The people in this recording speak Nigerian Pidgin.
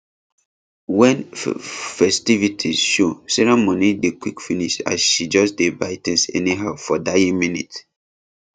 when ffestivities show sarah money dey quick finish as she just dey buy things anyhow for dying minute